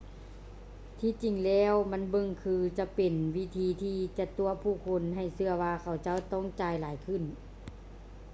ທີ່ຈິງແລ້ວ ມັນເບິ່ງຄືຈະເປັນວິທີທີ່ຈະຕົວະຜູ້ຄົນໃຫ້ເຊື່ອວ່າ ເຂົາເຈົ້າຈະຕ້ອງຈ່າຍຫຼາຍຂຶ້ນ